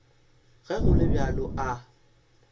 ge go le bjalo a